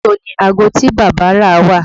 Ibo ni aago tí bàbá rà wà?